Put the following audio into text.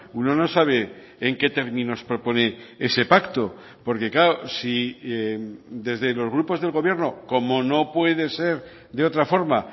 uno no sabe en qué términos propone ese pacto porque claro si desde los grupos del gobierno como no puede ser de otra forma